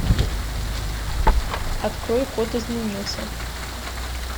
открой код изменился